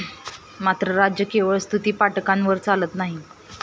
मात्र राज्य केवळ स्तुतीपाठकांवर चालत नाही.